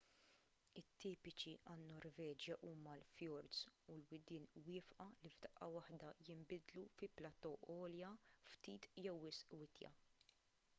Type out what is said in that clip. tipiċi għan-norveġja huma l-fjords u l-widien wieqfa li f'daqqa waħda jinbidlu fi platò għolja ftit jew wisq witja